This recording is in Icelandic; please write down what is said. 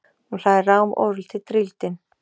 Hún hlær rám, ofurlítið drýldin.